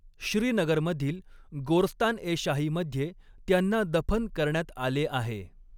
श्रीनगरमधील गोर्स्तान ए शाहीमध्ये त्यांना दफन करण्यात आले आहे.